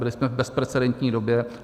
Byli jsme v bezprecedentní době.